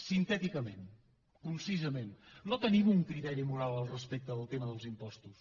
sintèticament concisament no tenim un criteri moral respecte del tema dels impostos